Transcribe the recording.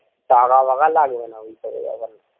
টাকা মাখা লাগবে না ঐসব